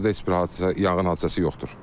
Hazırda heç bir hadisə, yanğın hadisəsi yoxdur.